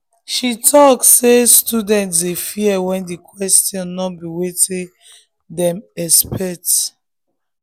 she talk say students dey fear when the questions no be wetin dem expect.